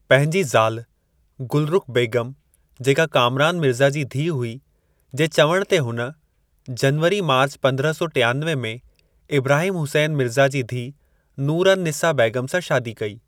पंहिंजी ज़ाल गुलरुख बेगम जेका कामरान मिर्ज़ा जी धीअ हुई जे चवण ते हुन, जनवरी / मार्च पंद्रहं सौ टियानवे में, इब्राहिम हुसैन मिर्ज़ा जी धीअ नूर अन-निसा बेगम सां शादी कई।